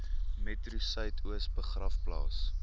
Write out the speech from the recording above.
metro suidoos begraafplaas